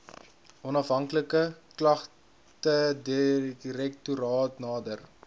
onafhanklike klagtedirektoraat nader